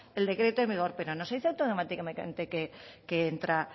el decreto en vigor pero no se dice automáticamente que entra